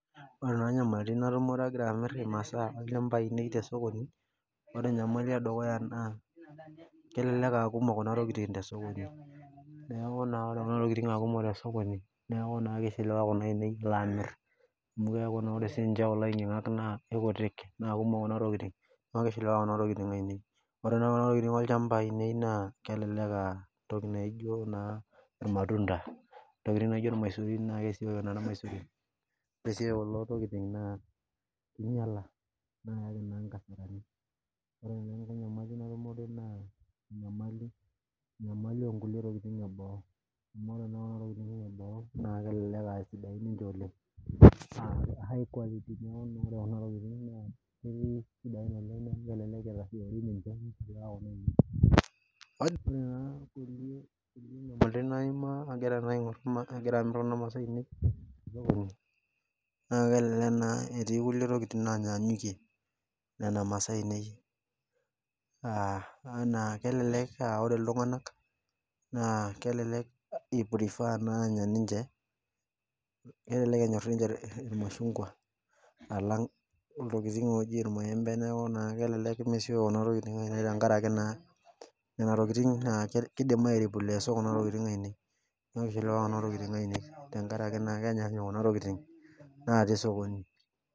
Ore nyamalitin naima agira amir masaa ainei tosokoni ore enyamali edukuya na kelelek aakumok kuna tokitin tosokoni amu keaku sinye ore kulo ainyak kutik na kumok kuna tokitin na ore kuna tokitin olchamba lai na kelelek em naijo irmatunda ntokitin naijo irmaisurin ore si kulo tokitin na inyaka nikiaka nkasarani enyamali onkulie tokitin eboo oleng naa neaku naa ore kuna tokitin na ntokitin sidain oleng amu melek enasia ore nakulie nyamalitin naimaa amirita masaa olchamba lai na kelelek etii nkulie tokitin nanyanyikie nona masaaa ainei kelelek enyor ninche irmashungwa alang irmashungwa neaku nona tokitin na kidim tenkaraki ketii likae tungani oata